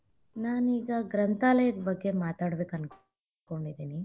ನಾನೀಗ ಗ್ರಂಥಾಲಯದ ಬಗ್ಗೆ ಮಾತಾಡಬೇಕ ಅನಕೊಂಡಿದೀನಿ.